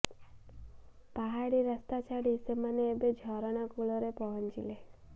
ପାହାଡ଼ି ରାସ୍ତା ଛାଡି ସେମାନେ ଏବେ ଝରଣା କୁଳ ରେ ପହଁଚିଲେ